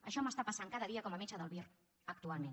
això m’està passant cada dia com a metge del vir actualment